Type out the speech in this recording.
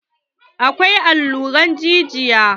Akwai allurar jijiya.